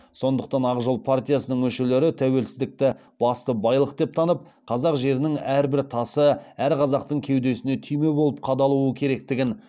сондықтан ақ жол партиясының мүшелері тәуелсіздікті басты байлық деп танып қазақ жерінің әрбір тасы әр қазақтың кеудесіне түйме болып қадалуы керектігін